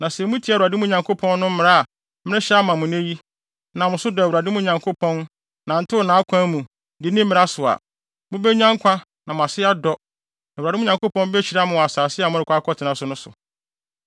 Na Sɛ mutie Awurade, mo Nyankopɔn no, mmara a merehyɛ ama mo nnɛ yi, nam so dɔ Awurade, mo Nyankopɔn, nantew nʼakwan mu, di ne mmara so a, mubenya nkwa na mo ase adɔ, na Awurade, mo Nyankopɔn behyira mo wɔ asase a morekɔ akɔtena so no so.